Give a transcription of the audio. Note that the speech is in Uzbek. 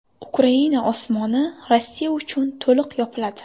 Ukraina osmoni Rossiya uchun to‘liq yopiladi.